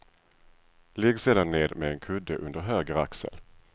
Ligg sedan ned med en kudde under höger axel.